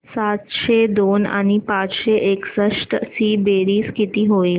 सातशे दोन आणि पाचशे एकसष्ट ची बेरीज किती होईल